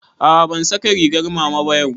A'a ban saka rigar mama ba yau